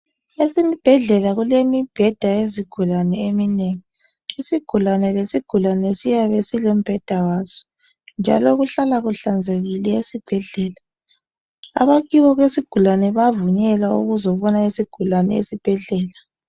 Esibhedlela kulemibheda yezigulane eminengi isigulane lesigulane siyabe silombheda waso njalo kuhlala kuhlanzekile esibhedlela abakibo kwesigulani bayavunyelwa ukuzobona isigulani esibhedlela